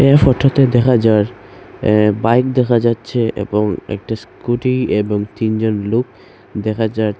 এই ফোটোতে দেখা যার অ্যা বাইক দেখা যাচ্ছে এবং একটি স্কুটি এবং তিনজন লোক দেখা যাচ--